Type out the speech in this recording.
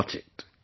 Do watch it